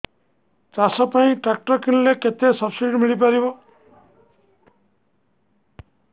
ଚାଷ ପାଇଁ ଟ୍ରାକ୍ଟର କିଣିଲେ କେତେ ସବ୍ସିଡି ମିଳିପାରିବ